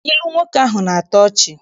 Ilu nwoke ahụ na-atọ ọchị.